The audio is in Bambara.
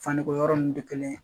Fani ko yɔrɔ ninnu tɛ kelen ye